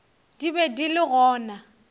di be di le gona